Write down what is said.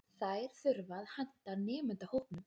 þær þurfa að henta nemendahópnum